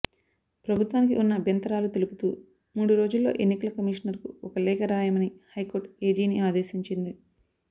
ప్రభుత్వానికి ఉన్న అభ్యంతరాలు తెలుపుతూ మూడు రోజుల్లో ఎన్నికల కమిషనర్కు ఒక లేఖ రాయమని హైకోర్టు ఏజీని ఆదేశించింది